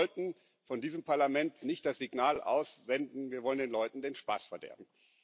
Und wir sollten von diesem Parlament nicht das Signal aussenden Wir wollen den Leuten den Spaß verderben.